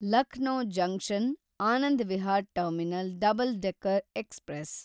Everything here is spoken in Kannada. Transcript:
Lucknow junction Anand Vihar terminal double decker express